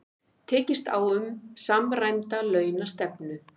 Tekist á um samræmda launastefnu